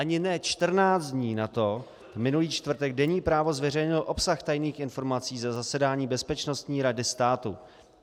Ani ne čtrnáct dní nato, minulý čtvrtek, deník Právo zveřejnil obsah tajných informací ze zasedání Bezpečnostní rady státu.